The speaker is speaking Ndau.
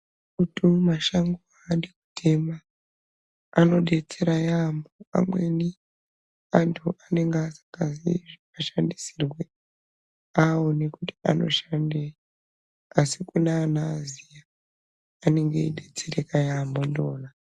Muti mumashango adi kutema, anodetsera yaamho. Amweni antu anenge asingazii zvinoshandisirwe awone kuti anoshandei asi kune anoaziya anenge eidetsereka yaamho ndiwona.